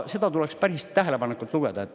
Seda tuleks päris tähelepanelikult lugeda.